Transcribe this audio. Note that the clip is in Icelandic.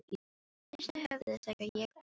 Hristi höfuðið þegar ég bar upp erindið.